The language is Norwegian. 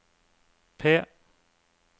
P